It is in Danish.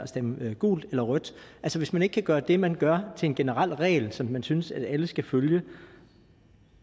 stemme gult eller rødt altså hvis man ikke kan gøre det man gør til en generel regel som man synes alle skal følge